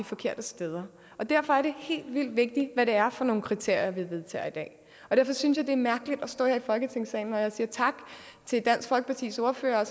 forkerte steder derfor er det helt vildt vigtigt hvad det er for nogle kriterier vi vedtager i dag og jeg synes det er mærkeligt at stå her i folketingssalen og sige tak til dansk folkepartis ordfører og